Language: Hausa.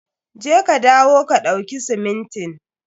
Je ka dawo ka ɗauki simintin.